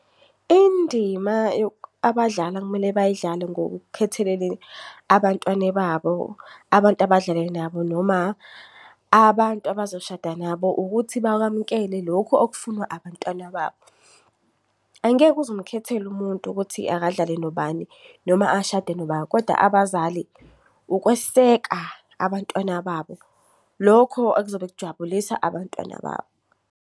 Indima abadlala ekumele bayidlale ngokukhethelele abantwane babo, abantu abadlal nabo noma abantu abazoshada nabo ukuthi bakwamukele lokhu okufunwa abantwana babo. Angeke uzumkhethele umuntu ukuthi akadlale nobani noma ashade noba, koda abazali ukweseka abantwana babo. Lokho okuzobe kujabulisa abantwana babo.